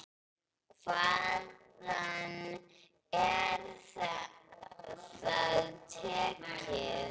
Hvaðan er það tekið?